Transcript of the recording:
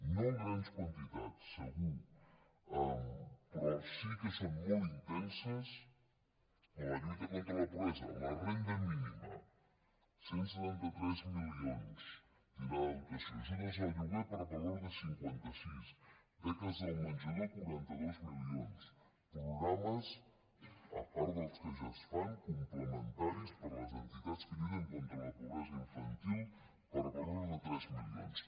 no en grans quantitats segur però sí que són molt intenses en la lluita contra la pobresa la renda mínima cent i setanta tres milions tindrà de dotació ajudes al lloguer per valor de cinquanta sis beques del menjador quaranta dos milions programes a part dels que ja es fan complementaris per a les entitats que lluiten contra la pobresa infantil per valor de tres milions